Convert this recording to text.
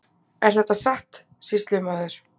Er þetta satt, sýslumaður?